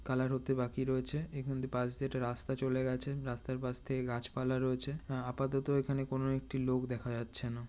Colour হতে বাকি রয়েছে। এখানে পাশ দিয়ে রাস্তা চলে গেছে। রাস্তার পাশ থেকে গাছপালা রয়েছে। আ আপাতত এখানে কোনো একটি লোক দেখা যাচ্ছে না।